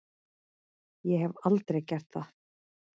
Ég hef aldrei gert það.